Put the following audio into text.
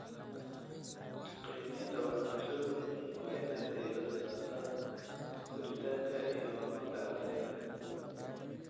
Qiimaynta waxbarashadu waa in ay diirada saartaa koritaanka iyo horumarka ardayga.